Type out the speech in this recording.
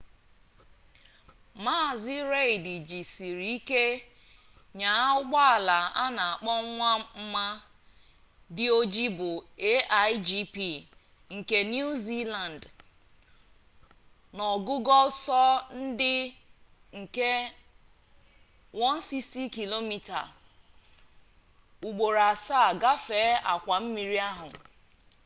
mazi reid jisiri ike nyaa ụgbọala a na-akpọ nwa mma dị oji bụ a1gp nke niu ziland n'ogugo ọsọ nke 160km/h ugboro asaa gafee akwa mmiri ahụ